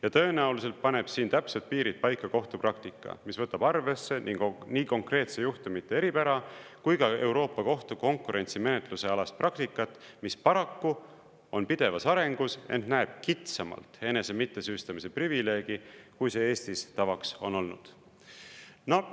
Ja tõenäoliselt paneb siin täpsed piirid paika kohtupraktika, mis võtab arvesse nii konkreetse juhtumite eripära kui ka Euroopa Kohtu konkurentsimenetluse alast praktikat, mis paraku on pidevas arengus, ent näeb kitsamalt enese mittesüüstamise privileegi, kui see Eestis tavaks on olnud.